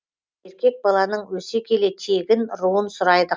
еркек баланың өсе келе тегін руын сұрайды